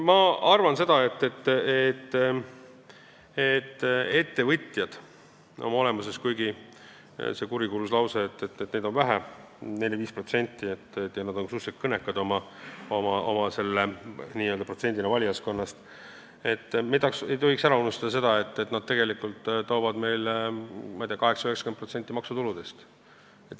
Ma arvan seda, et kuigi kurikuulus lause ütleb, et ettevõtjaid on vähe, ainult 4–5%, ja nad on suhteliselt kõnekad oma valijaskonna seas, me ei tohiks ära unustada, et nad toovad meile vist 80–90% maksutuludest.